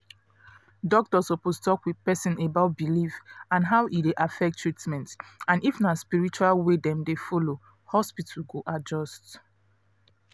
doctor suppose talk with person about belief and how e dey affect treatment and if na spiritual way dem dey follow hospital go adjust